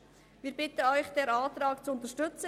Wir bitten Sie, diesen Antrag zu unterstützen.